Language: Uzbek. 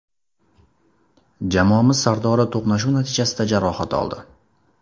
Jamoamiz sardori to‘qnashuv natijasida jarohat oldi.